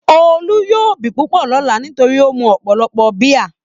Olú yóò bì púpọ̀ lọ́lá nítorí ó mu ọ̀pọ̀lọpọ̀ bíà.